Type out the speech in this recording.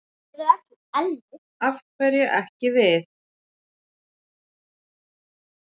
Af hverju ekki við?